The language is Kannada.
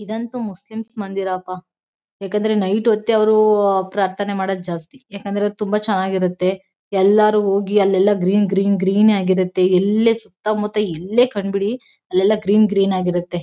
ಇದಂತೂ ಮುಸ್ಲಿಂ ಮಂದಿರ ಪಾ ಯಾಕಂದ್ರೆ ನೈಟ್ ಹೊತ್ತೇ ಅವ್ರು ಪ್ರಾರ್ಥನೆ ಮಾಡೋದ್ ಜಾಸ್ತಿ ಯಾಕಂದ್ರೆ ತುಂಬಾ ಚೆನ್ನಾಗಿರುತ್ತೆ ಎಲ್ಲರೂ ಹೋಗಿ ಅಲ್ಲೆಲ್ಲ ಗ್ರೀನ್ ಗ್ರೀನ್ ಗ್ರೀನ್ ಆಗಿರುತ್ತೆ ಎಲ್ಲೇ ಸುತ್ತ ಮುತ್ತ ಎಲ್ಲೇ ಕಂಡ್ಬಿಡಿ ಅಲ್ಲೆಲ್ಲ ಗ್ರೀನ್ ಗ್ರೀನ್ ಆಗಿರುತತ್ತೆ.